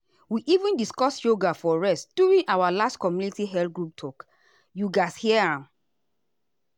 we even discuss yoga for rest during our last community health group talk you gatz hear am.